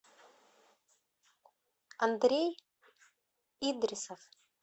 андрей идрисов